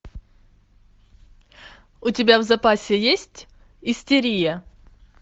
у тебя в запасе есть истерия